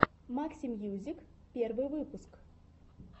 максимьюзик первый выпуск